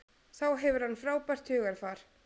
Þá hefur hann frábært hugarfar.